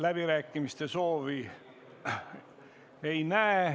Läbirääkimiste soovi ma ei näe.